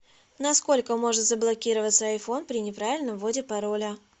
на сколько может заблокироваться айфон при неправильном вводе пароля